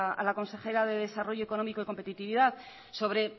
a la consejera de desarrollo económico y competitividad sobre